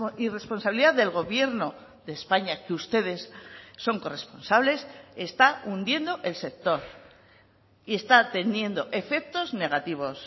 irresponsabilidad del gobierno de españa que ustedes son corresponsables está hundiendo el sector y está teniendo efectos negativos